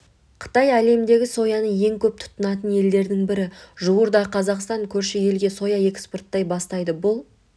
қытай әлемдегі сояны ең көп тұтынатын елдердің бірі жуырда қазақстан көрші елге соя экспорттай бастайды бұл